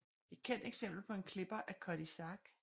Et kendt eksempel på en klipper er Cutty Sark